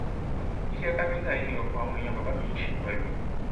iṣẹ káfíńtà yìí ni ọpọ àwọn èèyàn bàbá mi ń ṣe pẹlú